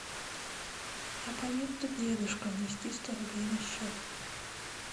абоненту дедушка внести сто рублей на счет